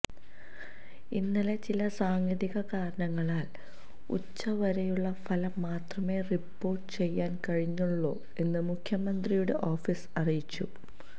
ഇന്നലെ ചില സാങ്കേതിക കാരണങ്ങളാല് ഉച്ചവരെയുള്ള ഫലം മാത്രമേ റിപ്പോര്ട്ട് ചെയ്യാന് കഴിഞ്ഞിരുന്നുള്ളൂ എന്ന് മുഖ്യമന്ത്രിയുടെ ഓഫീസ് അറിയിച്ചു